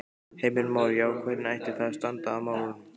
Heimir Már: Já, hvernig ætti þá að standa að málum?